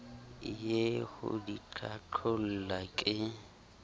ie ho di qhaqholla ke